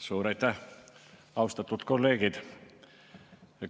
Suur aitäh, austatud kolleegid!